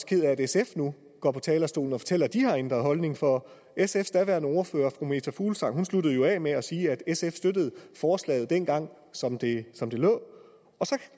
ked af at sf nu går på talerstolen og fortæller at de har ændret holdning for sfs daværende ordfører fru meta fuglsang sluttede jo af med at sige at sf støttede forslaget dengang som det som det lå og så